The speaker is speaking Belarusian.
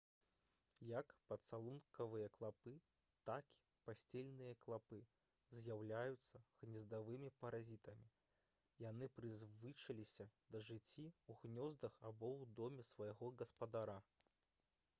як пацалункавыя клапы так і пасцельныя клапы з'яўляюцца гнездавымі паразітамі яны прызвычаіліся да жыцця ў гнёздах або ў доме свайго гаспадара